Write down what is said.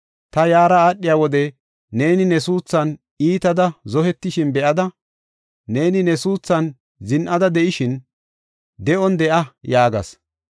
“Ta yaara aadhiya wode neeni ne suuthan iitada zohetishin be7ada, neeni ne suuthan zin7ida de7ishin, ‘De7on de7a’ yaagas.